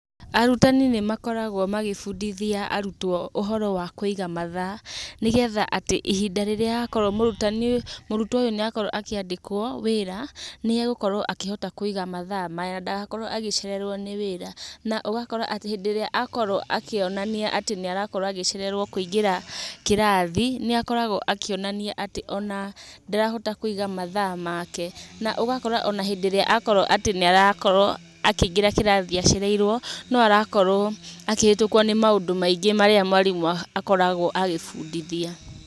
Arutani nĩmakorwo magĩbundithia arutwo ũhoro wa kũiga mathaa, nĩgetha atĩ, ihinda rĩrĩa akorwo mũrutwo ũyũ nĩ akorwo akĩandĩkwo wĩra, nĩ egũkorwo akĩhota kũiga matha maya, ndagakorwo agĩcererwo nĩ wĩra. Na ũgakora atĩ, hĩndĩ ĩrĩa akorwo akĩonania atĩ nĩ arakorwo agĩcererwo nĩ kũingĩra kĩrathi, nĩ akoragwo akĩonania atĩ ona ndarahota kũiga matha make. Na ũgakora ona hĩndĩ ĩrĩa arakorwo akĩingĩra kĩrathi acereirwo no arakorwo akĩhetũkwo nĩ maũndũ maingĩ marĩa mwarimũ akoragwo agĩbundithia.